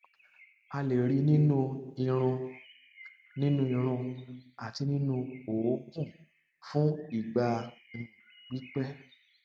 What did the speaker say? a lè rí i nínú irun i nínú irun àti nínú òógùn fún ìgbà um pípẹ